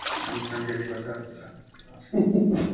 আনসান খালি কথাবার্তা